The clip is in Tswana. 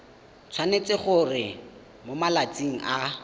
tshwanetse gore mo malatsing a